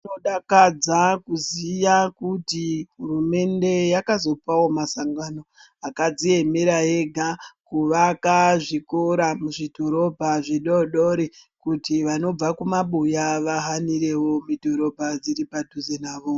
Zvinodakadza kuziya kuti hurumende yakazopawo masangano akadziemera ega kuvaka zvikora muzvidhorobha zvidodori kuti vanobva kumabuya vahanirewo midhorobha dziri padhuze navo.